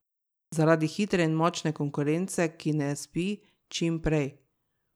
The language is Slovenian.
Zaradi hitre in močne konkurence, ki ne spi, čim prej!